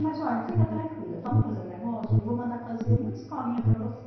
Mas olha, fica tranquila, vamos fazer um negócio, eu vou mandar fazer uma escolinha para você.